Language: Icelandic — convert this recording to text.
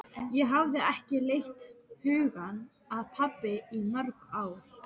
Ég hafði ekki leitt hugann að pabba í mörg ár.